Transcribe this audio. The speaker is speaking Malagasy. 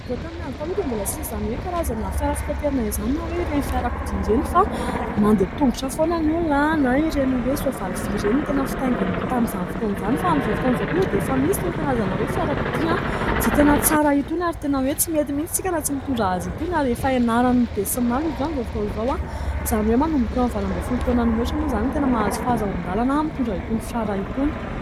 Raha tamin'ny andro taloha dia mbola tsy nisy izany hoe karazana fiara fitaterana izany na hoe ireny fiarakodia ireny fa mandeha tongotra foana ny olona na ireny hoe soavaly vy ireny no tena fitainginy tamin'izany fotoana izany. Fa amin'izao fotaona izao kosa dia efa misy itony karazana hoe fiarakodia izay tena tsara itony ary tena hoe tsy mety mihitsy isika raha tsy mitondra azy itony ary efa ianaran'ny be sy ny maro izy io amin'izao fotoana izao. Izany hoe manomboka eo amin'ny faha valo ambin'ny folo taona no mihaotra moa izany no tena mahazo fahazon-dalana mitondra itony fiara itony.